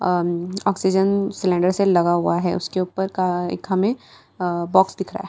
अम oxygen cylinder से लगा हुआ है उसके ऊपर का एक हमें अह बॉक्स दिख रहा है।